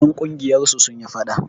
Ƴan ƙungiyar su sun yi faɗa.